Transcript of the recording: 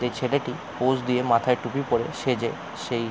এই ছেলেটি পোজ দিয়ে মাথায় টুপি পরে সেজে সেই--